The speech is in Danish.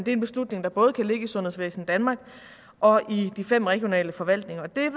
en beslutning der både kan ligge i sundhedsvæsen danmark og i de fem regionale forvaltninger